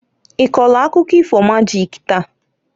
I kọlụ akụkọ ifo majik taa?